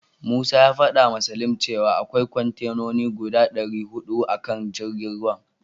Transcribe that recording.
Musa ya fadawa Salim cewa akwai kontenoni guda dari hudu a kan jirgin ruwan.